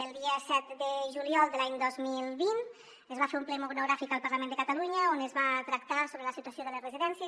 el dia set de juliol de l’any dos mil vint es va fer un ple monogràfic al parlament de catalunya on es va tractar la situació de les residències